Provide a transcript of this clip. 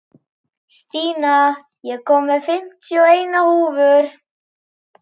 Stína, ég kom með fimmtíu og eina húfur!